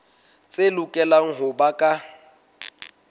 tse lokelang ho ba ka